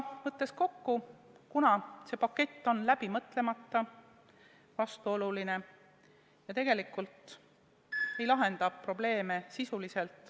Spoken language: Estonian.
Kokku võttes: see pakett on läbi mõtlemata, vastuoluline ja tegelikult ei lahenda probleeme sisuliselt.